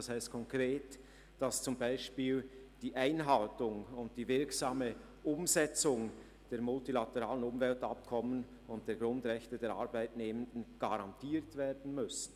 Das heisst konkret, dass zum Beispiel die Einhaltung und die wirksame Umsetzung der multilateralen Umweltabkommen und die Grundrechte der Arbeitnehmenden garantiert werden müssen.